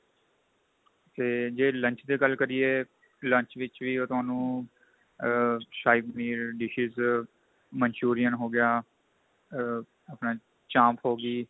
ਤੇ ਜੇ lunch ਦੀ ਗੱਲ ਕਰੀਏ lunch ਵਿੱਚ ਵੀ ਉਹ ਤੁਹਾਨੂੰ ਆ ਸਾਹੀ ਪਨੀਰ dishes Manchurian ਹੋ ਗਿਆ ਆ ਆਪਣਾ ਚਾਂਪ ਹੋ ਗਈ